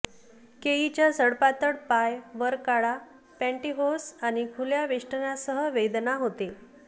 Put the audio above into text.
केईच्या सडपातळ पाय वर काळा पॅन्टीहोस आणि खुल्या वेष्टनासह वेदना होते